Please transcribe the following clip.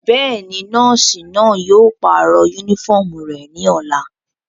Bẹ́ẹ̀ni, nọọsi náa yóò parọ unifọmú rẹ ni ọla.